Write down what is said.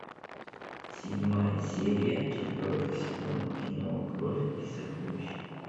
седьмая серия четвертый сезон кино кровь и сокровища